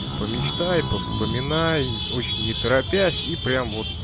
помечтай по вспоминай очень не торопясь и прям